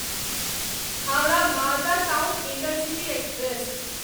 Howrah Malda town intercity express